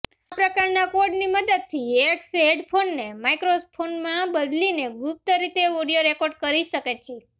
આ પ્રકારના કોડની મદદથી હેકર્સ હેડફોન્સને માઈક્રોફોનમાં બદલીને ગુપ્ત રીતે ઑડિયો રેકોર્ડ કરી શકે છે